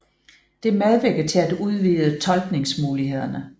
Det medvirker til at udvide tolkningsmulighederne